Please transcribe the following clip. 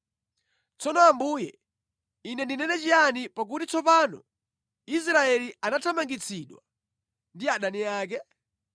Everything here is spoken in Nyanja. Tsono Ambuye, ine ndinene chiyani, pakuti tsopano Israeli anathamangitsidwa ndi adani ake?